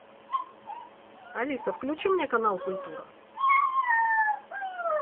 алиса включи мне канал культура